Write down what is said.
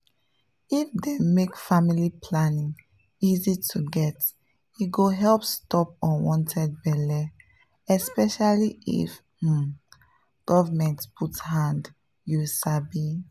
if dem make family planning easy to get e go help stop unwanted belle especially if um government put hand you sabi?